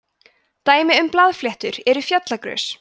dæmi um blaðfléttur eru fjallagrös